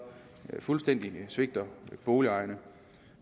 fuldstændig svigter boligejerne